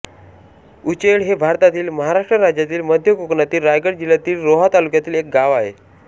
उचेळ हे भारतातील महाराष्ट्र राज्यातील मध्य कोकणातील रायगड जिल्ह्यातील रोहा तालुक्यातील एक गाव आहे